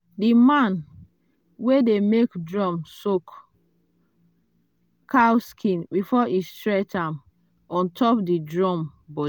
the man wey dey make drum soak cow skin before e stretch am on top the drum.